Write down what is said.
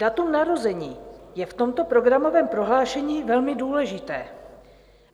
Datum narození je v tomto programovém prohlášení velmi důležité.